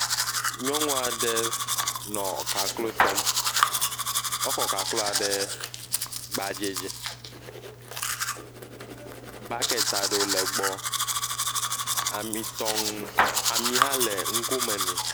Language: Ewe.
Nyɔnua ɖe le kaklo tɔm. Ekɔ kakloa ɖe gbadzɛ dzi. Bɔkiti aɖewo le egbɔ. Ami tɔŋu,… ami hã le nugo me ne.